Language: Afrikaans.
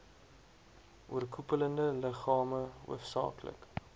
oorkoepelende liggame hoofsaaklik